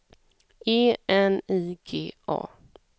E N I G A